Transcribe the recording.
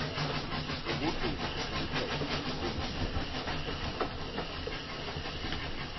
ukugcina imithetho elishumi